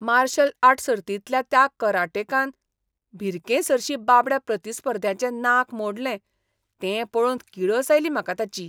Martial art सर्तींतल्या त्या कराटेकान भिरकेसरशीं बाबड्या प्रतिस्पर्ध्याचें नाक मोडलें तें पळोवन किळस आयली म्हाका ताची.